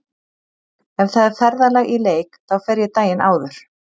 Ef það er ferðalag í leik þá fer ég daginn áður.